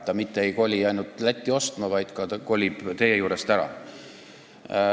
Ta mitte ei sõida ainult Lätti ostma, vaid kolib teie juurest ära.